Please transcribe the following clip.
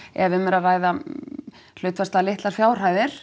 ef um er að ræða litlar fjárhæðir